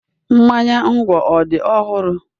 Mmanya nkwu ọ dị ọhụrụ?